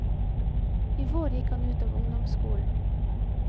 I vår gikk han ut av ungdomsskolen.